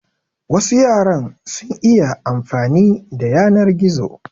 Wasu yaran sun iya amfani da yanar gizo.